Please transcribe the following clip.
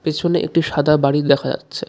পেছনে একটি সাদা বাড়ি দেখা যাচ্ছে।